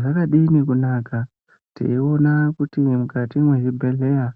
Zvakadini kunaka teiona kuti mukati mwezvibhehlera